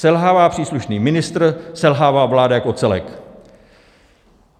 Selhává příslušný ministr, selhává vláda jako celek.